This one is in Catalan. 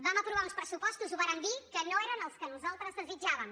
vam aprovar uns pressupostos ho vàrem dir que no eren els que nosaltres desitjàvem